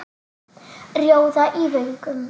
Rjóða í vöngum.